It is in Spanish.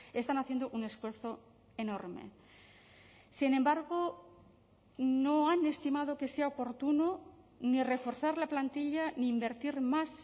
están haciendo un esfuerzo enorme sin embargo no han estimado que sea oportuno ni reforzar la plantilla ni invertir más